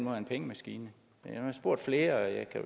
er en pengemaskine jeg har spurgt flere